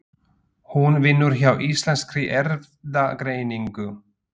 Hún vinnur hjá Íslenskri Erfðagreiningu.